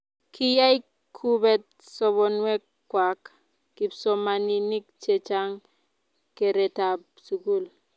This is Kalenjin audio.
kiyai kuubet sobonwek kwak kipsomaninik che chang' keretab sukul